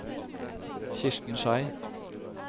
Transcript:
Kirsten Schei